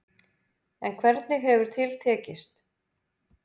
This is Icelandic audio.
En hvernig hefur til tekist.